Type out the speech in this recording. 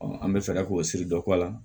an bɛ fɛɛrɛ k'o siri dɔ kɔ a la